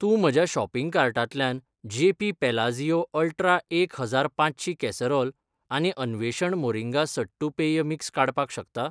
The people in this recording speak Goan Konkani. तूं म्हज्या शॉपिंग कार्टांतल्यान जेपी पॅलाझियो अल्ट्रा एक हजार पांचशीं कॅसरोल आनी अन्वेषण मोरिंगा सट्टू पेय मिक्स काडपाक शकता?